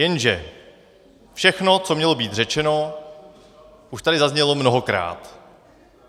Jenže všechno, co mělo být řečeno, už tady zaznělo mnohokrát.